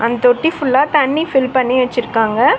இந் தொட்டி ஃபுல்லா தண்ணி ஃபில் பண்ணி வெச்சிருக்காங்க.